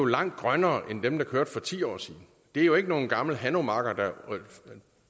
langt grønnere end dem der kørte for ti år siden det er jo ikke nogle gamle hanomager der